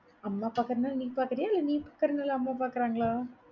அம்மா பாக்கறதுனால நீ பாக்கறியா? இல்ல நீ பாக்கறதுனால அம்மா பாக்கறாங்களா?